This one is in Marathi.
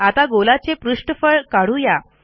आता गोलाचे पृष्ठफळ काढू या